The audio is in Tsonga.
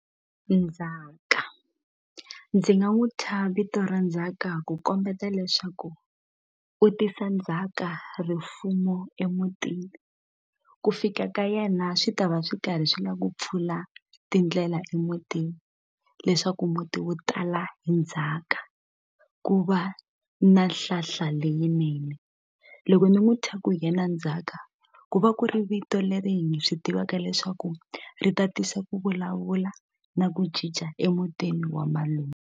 Nzhaka ndzi nga n'wu thya vito ra Ndzhaka ku kombeta leswaku u tisa ndzhaka rifumo emutini ku fika ka yena swi ta va swi karhi swi la ku pfula tindlela emutini leswaku muti wu tala hi ndzhaka ku va na nhlahla leyinene loko ni n'wu thya ku hi yena Ndzhaka ku va ku ri vito leri hi swi tivaka leswaku ri ta tisa ku vulavula na ku cinca emutini wa .